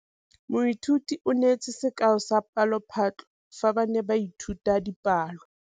Moithuti o neetse sekaô sa palophatlo fa ba ne ba ithuta dipalo.